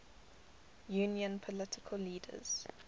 union political leaders